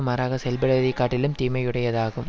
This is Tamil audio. மாறாகச் செயல்படுவதைக் காட்டிலும் தீமையுடையதாகும்